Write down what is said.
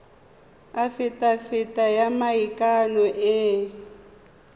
afitafiti ya maikano e e